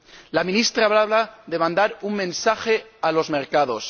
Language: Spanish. La ministra hablaba de mandar un mensaje a los mercados.